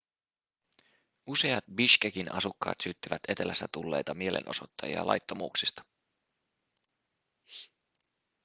useat bishkekin asukkaat syyttivät etelästä tulleita mielenosoittajia laittomuuksista